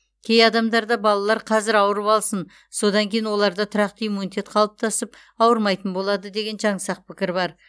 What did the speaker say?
кей адамдарда балалар қазір ауырып алсын содан кейін оларда тұрақты иммунитет қалыптасып ауырмайтын болады деген жансақ пікір бар